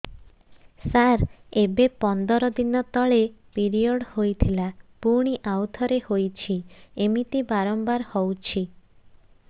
ସାର ଏବେ ପନ୍ଦର ଦିନ ତଳେ ପିରିଅଡ଼ ହୋଇଥିଲା ପୁଣି ଆଉଥରେ ହୋଇଛି ଏମିତି ବାରମ୍ବାର ହଉଛି